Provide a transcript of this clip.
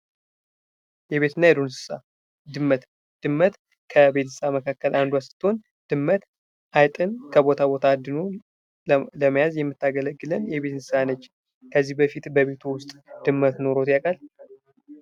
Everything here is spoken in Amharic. የቤትና የዱር እንስሳ ድመት ድመት ከቤት እንስሳ መካከል አንዷ ስትሆን ድመት አይጥን ከቦታ ቦታ አድኖ ለመያዝ የምታገለግለን የቤት እንስሳ ነች። ከዚህ በፊት በቤትዎ ውስጥ ድመት ኖሮት ያውቃል፡?